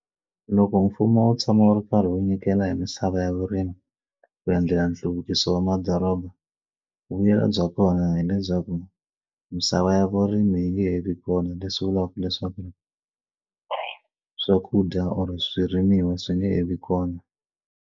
Loko mfumo wo tshama wu ri karhi wu nyikela hi misava ya vurimi ku endlela nhluvukiso wa madoroba vuyelo bya kona hileswaku misava ya vurimi yi nge he vi kona leswi vulaka leswaku swakudya or swirimiwa swi nge he vi kona.